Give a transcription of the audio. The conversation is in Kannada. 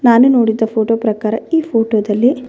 ನಾನು ನೋಡಿದ ಫೋಟೋ ಪ್ರಕಾರ ಈ ಫೋಟೋದಲ್ಲಿ --